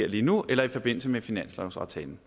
lige nu eller i forbindelse med finanslovsaftalen